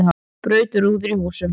Braut rúður í húsum